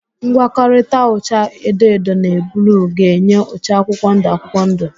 Ngwọkọrịta ụcha edo edo na bluu ga-enye ụcha akwụkwọndụ akwụkwọndụ.